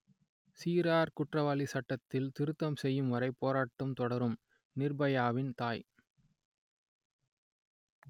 சிறார் குற்றவாளி சட்டத்தில் திருத்தம் செய்யும்வரை போராட்டம் தொடரும் நிர்பயாவின் தாய்